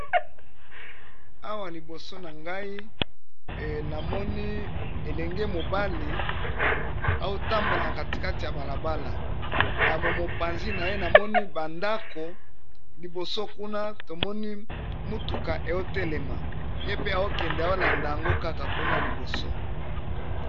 Awa liboso na ngai namoni elenge mobali otambola na katikate ya balabala. Na mopanzi na ye namoni bandako liboso kuna tomoni mutuka ezotelema ye pe azokende kolanda yango kaka kuna liboso.